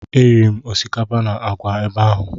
Eriri m osikapa na àgwà ebe ahụ.